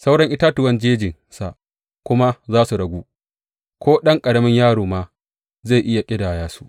Sauran itatuwan jejinsa kuma za su ragu ko ɗan ƙaramin yaro ma zai iya ƙidaya su.